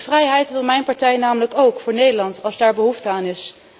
Die vrijheid wil mijn partij namelijk ook voor Nederland, als daar behoefte aan is.